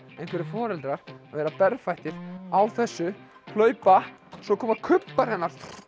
einhverjir foreldrar að vera berfættir á þessu hlaupa svo koma kubbar hérna